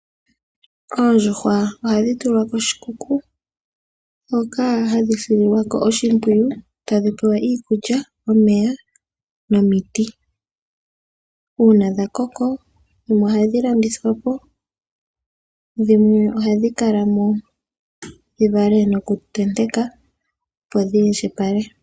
Oondjuhwa ohadhi tulwa koshikuku hoka hadhi sililwa ko oshimpwiyu, tadhi pewa iikulya, omeya nomiti. Uuna dha koko dhimwe ohadhi landithwa po, dhimwe ohadhi kala mo dhi vale nokutenteka, opo dhi indjipale.